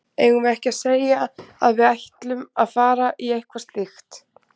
Eigum við ekki að segja að við ætlum að fara í eitthvað slíkt?